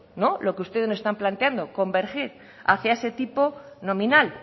no lo que ustedes nos están planteando convergir hacia ese tipo nominal